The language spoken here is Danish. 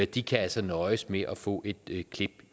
de kan altså nøjes med at få et klip